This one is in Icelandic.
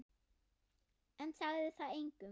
En sagði það engum.